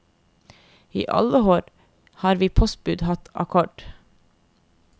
I alle år har vi postbud hatt akkord.